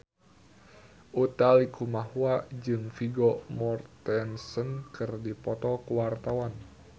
Utha Likumahua jeung Vigo Mortensen keur dipoto ku wartawan